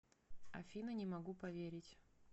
афина не могу поверить